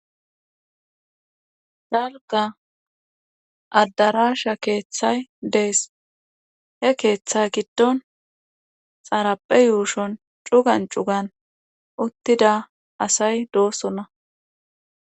dalkka addarasha keeththay dees. he keeththe giddon xarappe yuushon cugan cugan uttida asay doosonna.